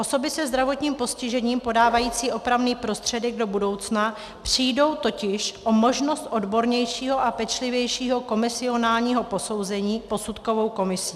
Osoby se zdravotním postižením podávající opravný prostředek do budoucna přijdou totiž o možnost odbornějšího a pečlivějšího komisionálního posouzení posudkovou komisí.